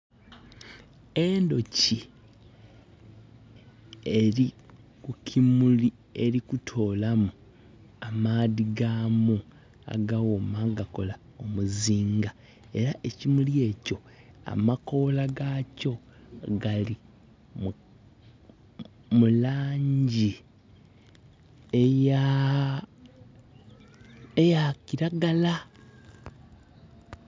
Endhoki eri kukimuli eri kutoolamu amaadhi gaamu agaghooma agakola omuzinga era ekimuli ekyo amakoola gakyo gali mu langi eya kilagala.